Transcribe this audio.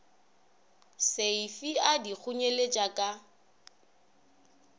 seifi a di kgonyeletša a